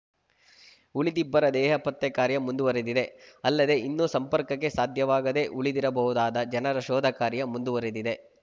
ಉಳಿದಿಬ್ಬರ ದೇಹ ಪತ್ತೆ ಕಾರ್ಯ ಮುಂದುವರಿದಿದೆ ಅಲ್ಲದೆ ಇನ್ನೂ ಸಂಪರ್ಕಕ್ಕೆ ಸಾಧ್ಯವಾಗದೆ ಉಳಿದಿರಬಹುದಾದ ಜನರ ಶೋಧ ಕಾರ್ಯ ಮುಂದುವರಿದಿದೆ